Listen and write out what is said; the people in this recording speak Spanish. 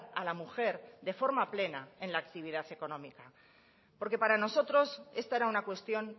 a la mujer de forma plena en la actividad económica porque para nosotros esta era una cuestión